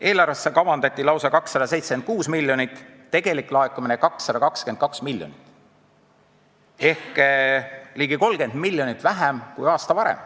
Eelarvesse kavandati lausa 276 miljonit, tegelik laekumine oli 222 miljonit ehk ligi 30 miljonit vähem kui aasta varem.